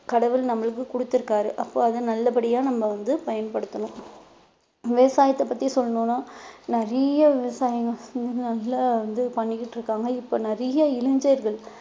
கடவுள் நம்மளுக்கு குடுத்திருக்காரு அப்ப அதை நல்லபடியா நம்ம வந்து பயன்படுத்தணும் விவசாயத்தை பத்தி சொல்லணும்னா நிறைய விவசாயிங்க வந்து பண்ணிக்கிட்டு இருக்காங்க இப்ப நிறைய இளைஞர்கள்